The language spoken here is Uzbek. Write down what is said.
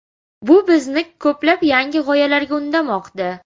Bu bizni ko‘plab yangi g‘oyalarga undamoqda.